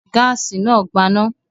Gáásì náà gbaná?